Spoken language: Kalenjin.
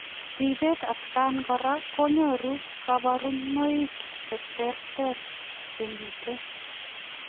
Ripeet atkaan koraa kogeree kabarunoik cheterter chemitei